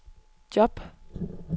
job